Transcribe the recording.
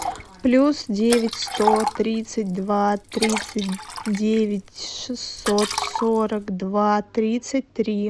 плюс девять сто тридцать два тридцать девять шестьсот сорок два тридцать три